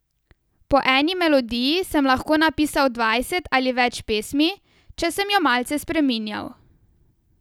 Po eni melodiji sem lahko napisal dvajset ali več pesmi, če sem jo malce spreminjal.